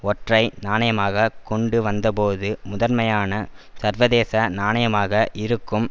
ஒற்றை நாணயமாக கொண்டுவந்தபோது முதன்மையான சர்வதேச நாணயமாக இருக்கும்